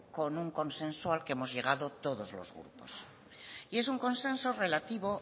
con un consenso al que hemos llegado todos los grupos y en un consenso relativo